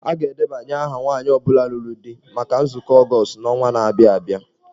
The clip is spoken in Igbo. A ga-edebanye aha nwanyị ọ bụla lụrụ di maka nzukọ Ọgọọst n'ọnwa na-abịa abịa.